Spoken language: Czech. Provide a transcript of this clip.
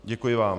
Děkuji vám.